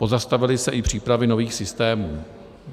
Pozastavily se i přípravy nových systémů.